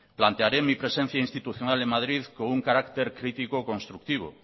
plantearé mi presencia institucional en madrid con un carácter crítico constructivo